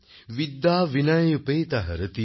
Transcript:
বিদ্যা বিনয় উপেতা হরতি